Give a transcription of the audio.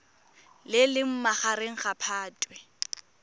le leng magareng ga phatwe